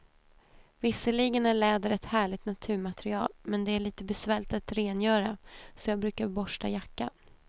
Visserligen är läder ett härligt naturmaterial, men det är lite besvärligt att rengöra, så jag brukar borsta jackan.